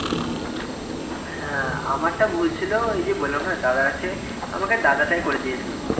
হ্যাঁ, আমারটা ভুল ছিল ওই যে বলাম না দাদা আছে আমাকে দাদাটাই করে দিয়েছিলো